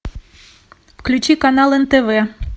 включи канал нтв